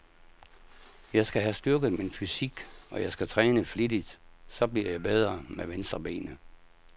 Jeg skal have styrket min fysik, og jeg skal træne flittigt, så jeg bliver bedre med venstrebenet.